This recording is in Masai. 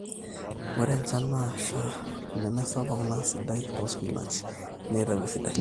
ore enjan nasha nemesapuk naa sidai toospinach neitau esidai